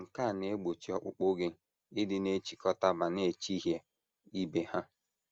Nke a na - egbochi ọkpụkpụ gị ịdị na - echikọta ma na - echihịa ibe ha.